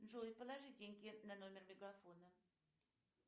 джой положи деньги на номер мегафона